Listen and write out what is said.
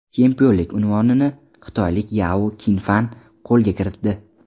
Chempionlik unvonini xitoylik Yao Kin Fan qo‘lga kiritdi.